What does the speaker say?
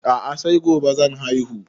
A'a sai gobe zan haihu